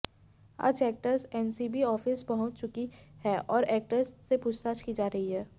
आज actress NCB office पहुंच चुकी है और एक्ट्रेस से पूछताछ की जा रही है